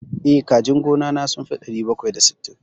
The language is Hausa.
Eh, kajin gona na sun fi ɗari bakwai da sittin.